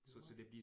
Nåh